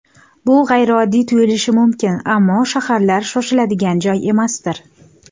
Bu g‘ayrioddiy tuyulishi mumkin, ammo shaharlar - shoshiladigan joy emasdir.